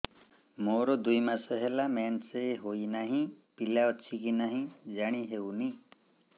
ମୋର ଦୁଇ ମାସ ହେଲା ମେନ୍ସେସ ହୋଇ ନାହିଁ ପିଲା ଅଛି କି ନାହିଁ ଜାଣି ହେଉନି